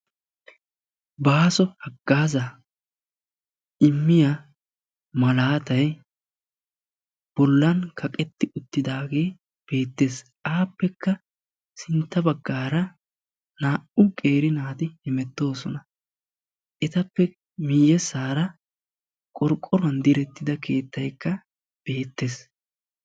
Baaso haggaazaa immiya malaatay bollan kaqetti uttidaagee beettees. Appekka sintta baggaara 2u qeeri naati hemettoosona. Etappe miyyessaara qorqqoruwan direttida keettaykka beettees.